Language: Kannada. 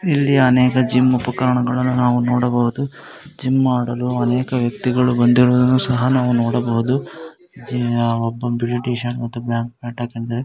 ಇಲ್ಲಿ ಅನೇಕ ಜಿಮ್ ಉಪಕರಣಗಳು ನಾವು ನೋಡಬಹುದು. ಜಿಮ್ ಮಾಡಲು ಅನೇಕ ವ್ಯಕ್ತಿಗಳು ಬಂದಿರುವುದು ಸಹ ನಾವು ನೋಡಬಹುದು ಒಬ್ಬ ಬಿಳೀ ಟೀ-ಶರ್ಟ್ ಮತ್ತು ಬ್ಲಾಕ್ ಪ್ಯಾಂಟ್ ಹಾಕೊಂಡಿದಾನೆ.